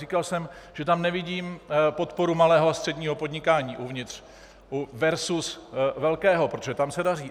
Říkal jsem, že tam nevidím podporu malého a středního podnikání uvnitř versus velkého, protože tam se daří.